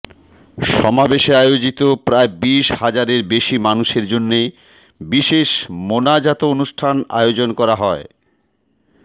সমাবেশে আয়োজিত প্রায় বিশ হাজারের বেশি মানুষের জন্য বিশেষ মোনাজাত অনুষ্ঠান আয়োজন করা হয়